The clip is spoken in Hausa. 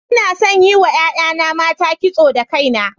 Ina son yin wa 'ya'yana mata kiso da kaina.